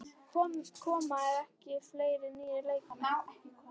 Koma ekki fleiri nýir leikmenn?